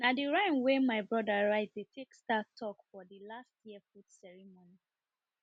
na de rhyme we my brother write dey take start talk for the last year food ceremony